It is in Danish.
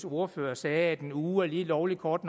ordfører sagde at en uge er lige lovlig kort